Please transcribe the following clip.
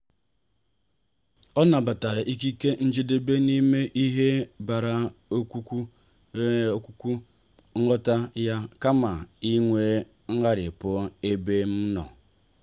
ọ nabatara ikike njedebe n'ime ihe bịa kwuputakwa nghọta ya kama inwe ngharipu n'ebe m nọ.